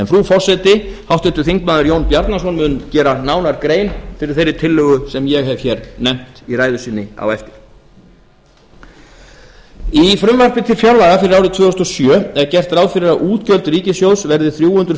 frú forseti háttvirtur þingmaður jón bjarnason mun gera nánar grein fyrir þeirri tillögu sem ég hef hér nefnt í ræðu sinni á eftir frú forseti í frumvarpi til fjárlaga fyrir árið tvö þúsund og sjö er gert ráð fyrir að útgjöld ríkissjóðs verði þrjú hundruð